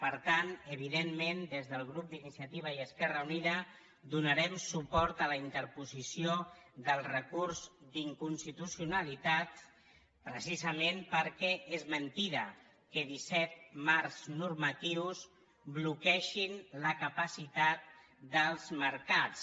per tant evidentment des del grup d’iniciativa i esquerra unida donarem suport a la interposició del recurs d’inconstitucionalitat precisament perquè és mentida que disset marcs normatius bloquegin la capacitat dels mercats